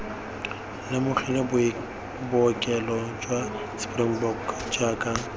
lemogile bookelo jwa springbok jaaka